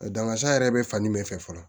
Dangasa yɛrɛ bɛ fani min fɛ fɔlɔ